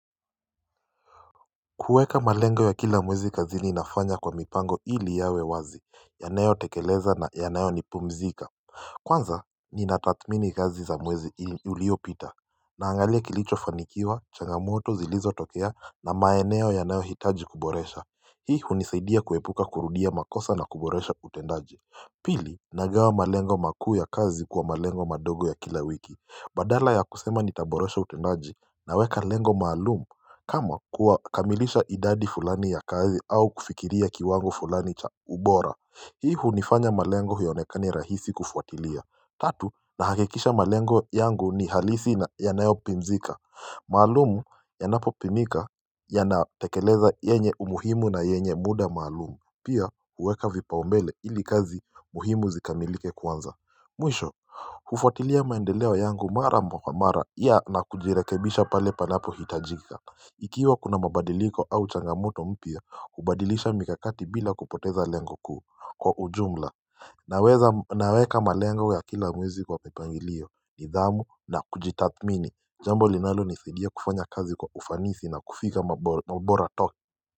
Kuweka malengo ya kila mwezi kazini nafanya kwa mipango ili yawe wazi yanayo tekeleza na yanayo nipumzika Kwanza ni natathmini kazi za mwezi uliopita Naangalia kilicho fanikiwa changamoto zilizo tokea na maeneo ya nayo hitaji kuboresha Hii hunisaidia kuepuka kurudia makosa na kuboresha utendaji Pili nagawa malengo makuu ya kazi kwa malengo madogo ya kila wiki Badala ya kusema nitaboresha utendaji Naweka lengo maalumu kama kuwa kamilisha idadi fulani ya kazi au kufikiria kiwango fulani cha ubora Hii hunifanya malengo hionekani rahisi kufuatilia Tatu na hakikisha malengo yangu ni halisi na yanayo pimzika maalumu yanapo pimika yanatekeleza yenye umuhimu na yenye muda maalumu Pia uweka vipaumbele ili kazi muhimu zikamilike kwanza Mwisho, ufuatilia maendeleo yangu mara kwa mara Ia na kujirekebisha pale panapo hitajika Ikiwa kuna mabadiliko au changamoto mpya ubadilisha mikakati bila kupoteza lengo kuu kwa ujumla Naweka malengo ya kila mwezi kwa mipangilio ni dhamu na kujitathmini jambo linalo nisaidia kufanya kazi kwa ufanisi na kufika mbora toki.